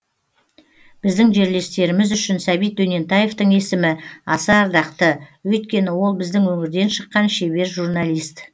біздің жерлестеріміз үшін сәбит дөнентаевтың есімі аса ардақты өйткені ол біздің өңірден шыққан шебер журналист